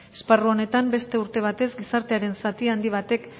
esparru honetan beste urte batez gizartearen zati handi batek